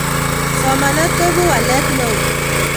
somanet koibu walisiet neo